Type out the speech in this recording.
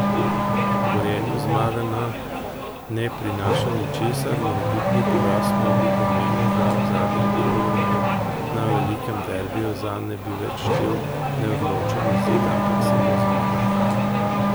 Gorenju zmaga ne prinaša ničesar, morebitni poraz pa bi pomenil, da v zadnjem kolu na velikem derbiju zanj ne bi več štel neodločen izid, ampak samo zmaga.